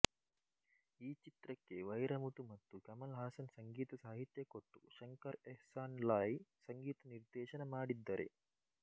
ಈ ಚಿತ್ರಕ್ಕೆ ವೈರಮುತು ಮತ್ತು ಕಮಲ್ ಹಾಸನ್ ಸಂಗೀತಸಾಹಿತ್ಯ ಕೊಟ್ಟು ಶಂಕರ್ಎಹ್ಸಾನ್ಲಾಯ್ ಸಂಗೀತ ನಿರ್ದೇಶನ ಮಾಡಿದ್ದರೆ